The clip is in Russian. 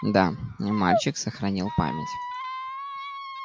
да не мальчик сохранил память